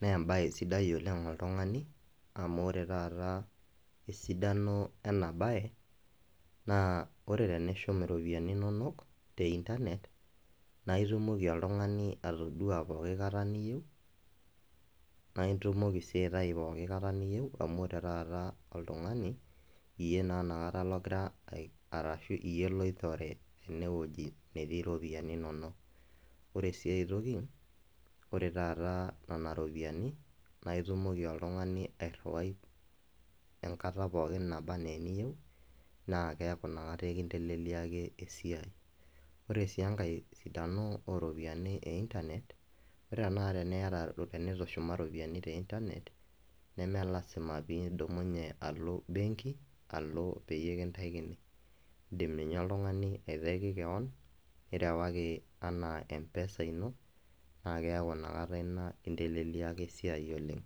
nee embae sidai oleng oltungani amu ore taata esidano ena bae naa ore tenishum iropiyiani inonok te internet naa itumoki oltungani atoduaa pooki kata niyieu, naa itumoki sii aitayu pooki kata niyieu amu ore taata oltungani, iyie inakata ogira , arashu iyie loitore ene wuoji netii iropiyiani inonok . Ore si aetoki ore taata nana ropiyiani naa itumoki oltungani airiwai enkata pooki naba anaa eniyieu na keaku inakata enkileliaki esiai . Ore si enkae sidano oropiyiani e internet, ore tenakata teniata, tenitushuma ropiyiani teinternet nemelasima pidumunye alo benki alo peyie kintaikini indim ninye oltungani aitaki kewon , nirewaki ana mpesa ino naa keaku inakata ina inteleliaki esiai oleng.